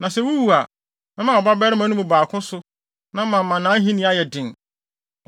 Na sɛ wuwu a, mɛma wo mmabarima no mu baako so, na mama nʼahenni ayɛ den.